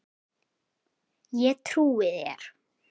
Ég trúi þér